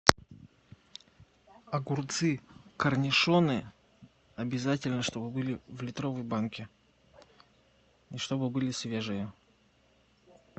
огурцы корнишоны обязательно чтобы были в литровой банке и чтобы были свежие